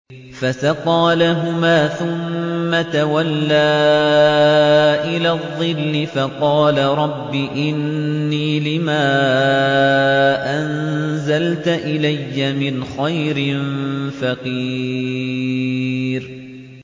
فَسَقَىٰ لَهُمَا ثُمَّ تَوَلَّىٰ إِلَى الظِّلِّ فَقَالَ رَبِّ إِنِّي لِمَا أَنزَلْتَ إِلَيَّ مِنْ خَيْرٍ فَقِيرٌ